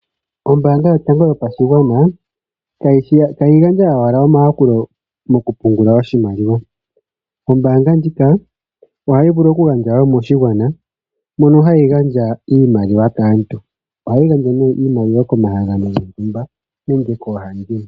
Ombaanga yotango yopashigwana ihayi gandja owala omayakulo moku pungula oshimaliwa, ombaanga ndjika ohayi vulu wo oku gandja moshigwana mono hayi gandja iimaliwa kaantu. Ohayi gandja nee iimaliwa komahangano gontumba nenge koohandimwe.